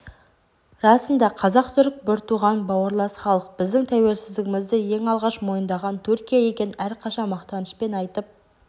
расында қазақ-түрік бір туған бауырлас халық біздің тәуелсіздігімізді ең алғаш мойындаған түркия екенін әрқашан мақтанышпен айтып